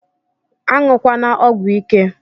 Anyukwana ọgwụ ike!!